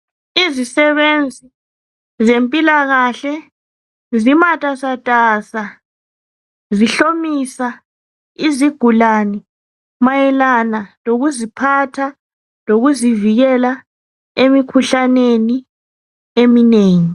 Izisebenzi zempilakahle zimatasasa zihlomisa izigulane mayelana lokuziphatha, lokuzivikela emikhuhlaneni eminengi.